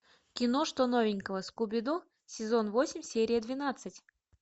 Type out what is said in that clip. кино что новенького скуби ду сезон восемь серия двенадцать